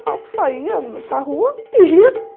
Normal, eu saia para rua e ia.